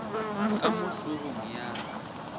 ka mo hlogong ya ka